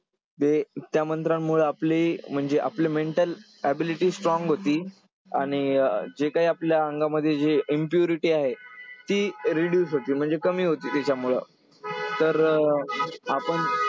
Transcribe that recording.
जे त्या मंत्रांमुळं आपले म्हणजे आपले mental ability strong होते. आणि जे काय आपल्या अंगामध्ये जे impurity आहे ती reduce होते. म्हणजे कमी होते तेच्यामुळं. तर अं आपण